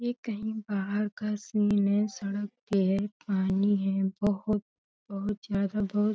ये कहीं बाहर का सीन है। सड़क के पानी है बहोत बहोत ज्यादा बहोत --